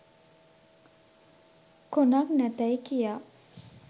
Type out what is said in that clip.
කොනක් නැතැයි කියා